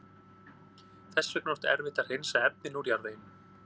Þess vegna er oft erfitt að hreinsa efnin úr jarðveginum.